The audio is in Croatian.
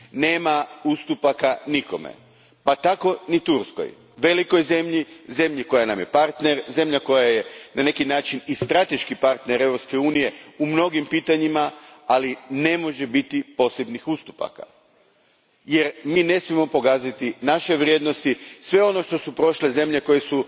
Nema ustupaka nikome, pa tako ni Turskoj, velikoj zemlji, zemlji koja nam je partner, zemlji koja je na neki način i strateški partner Europske unije u mnogim pitanjima, ali ne može biti posebnih ustupaka, jer mi ne smijemo pogaziti naše vrijednosti, sve ono kroz što su prošle zemlje koje su